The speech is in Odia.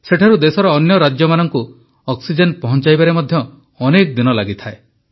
ସେଠାରୁ ଦେଶର ଅନ୍ୟ ରାଜ୍ୟମାନଙ୍କୁ ଅକ୍ସିଜେନ ପହଂଚାଇବାରେ ମଧ୍ୟ ଅନେକ ଦିନ ଲାଗିଥାଏ